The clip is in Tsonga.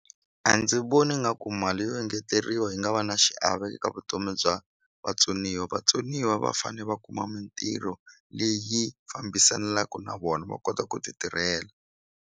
A ndzi voni nga ku mali yo engeteriwa yi nga va na xiave eka vutomi bya vatsoniwa vatsoniwa va fane va kuma mintirho leyi fambisanaku na vona va kota ku ti tirhela.